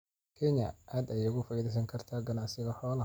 Kenya aad ayay uga faa'iidaysan kartaa ganacsiga xoolaha.